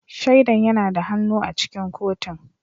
Shaidan yana da hannu a cikin kotun